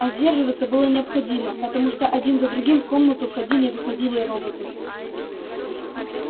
а сдерживаться было необходимо потому что один за другим в комнату входили и выходили роботы